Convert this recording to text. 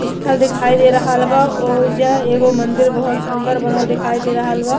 स्थल दिखाई दे रहल बा। ओईजा एगो मंदिर बहुत सुंदर बनल दिखाई दे रहल बा।